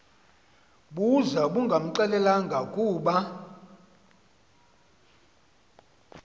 buza bungamxelelanga kube